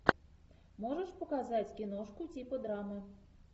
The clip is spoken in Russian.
можешь показать киношку типа драмы